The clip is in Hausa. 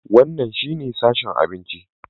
Wannan shine sashen abinci.